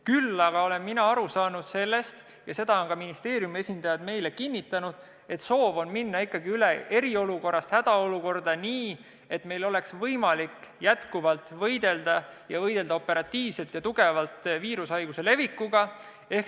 Küll aga olen ma aru saanud sellest – ja seda on ka ministeeriumi esindajad meile kinnitanud –, et soov on minna eriolukorrast hädaolukorda üle nii, et meil oleks jätkuvalt võimalik operatiivselt ja tugevalt võidelda viirushaiguse leviku vastu.